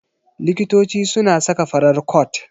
Likitoci suna saka farar cot.